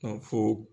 fo